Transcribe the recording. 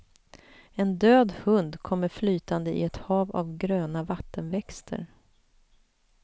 En död hund kommer flytande i ett hav av gröna vattenväxter.